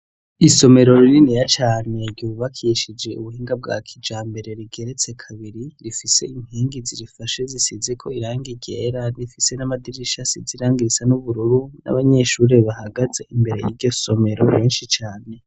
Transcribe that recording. Isomero rininiya cane ryubakishije ubuhinga bwa kijambere rigeretse kabiri rifise inkingi zirifashe zisizeko irangi ryera rifise n'amadirisha asize irangi risa n'ubururu n'abanyeshure bahagaze imbere y'iryo somero benshi cane.